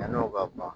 Yann'o ka ban